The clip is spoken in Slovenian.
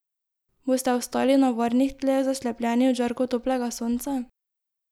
Boste ostali na varnih tleh, zaslepljeni od žarkov toplega sonca?